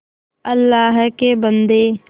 अल्लाह के बन्दे